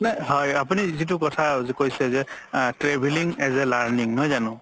হয় আপুনি যিতু কথা কৈছে যে travelling as a learning